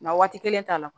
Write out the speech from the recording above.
Na waati kelen t'a la